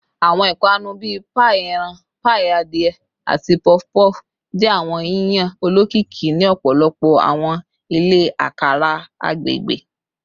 Awọn ipanu bii paii eran, paii adie, ati puff puff jẹ awọn yiyan olokiki ni ọpọlọpọ awọn ile akara agbegbe